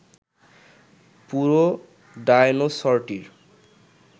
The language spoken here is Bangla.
পুরো ডায়নোসরটির